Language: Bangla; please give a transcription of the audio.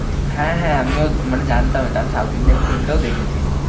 হ্যাঁ হ্যাঁ আমিও মানে জানতাম এটা। আমি South Indian film টাও দেখেছি।